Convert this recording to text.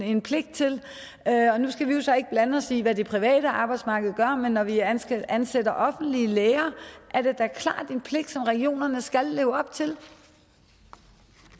en pligt til nu skal vi jo så ikke blande os i hvad det private arbejdsmarked gør men når vi ansætter ansætter offentlige læger er det da klart en pligt som regionerne skal leve op til